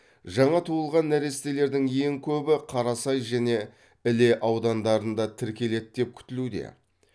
жаңа туылған нәрестелердің ең көбі қарасай және іле аудандарында тіркеледі деп күтілуде